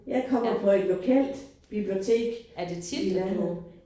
Jeg kommer på et lokalt bibliotek i landet